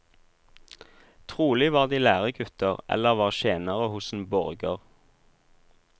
Trolig var de læregutter, eller var tjenere hos en borger.